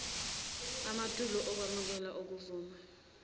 amatulo okwemukela okuvuma